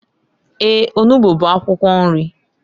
Eeǃ Onugbu bụ akwụkwọ nri.